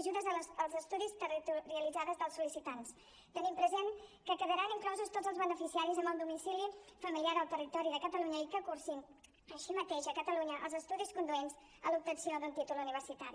ajudes als estudis territorialitzats dels sol·licitants tenint present que hi quedaran inclosos tots els beneficiaris amb el domicili familiar al territori de catalunya i que cursin així mateix a catalunya els estudis conduents a l’obtenció d’un títol universitari